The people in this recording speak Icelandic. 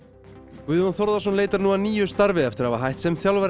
Guðjón Þórðarson leitar nú að nýju starfi eftir að hafa hætt sem þjálfari